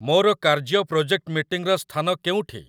ମୋର କାର୍ଯ୍ୟ ପ୍ରୋଜେକ୍ଟ ମିଟିଂର ସ୍ଥାନ କେଉଁଠି?